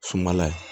Sumala ye